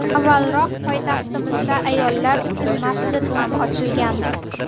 Avvalroq poytaxtimizda ayollar uchun masjid ham ochilgandi.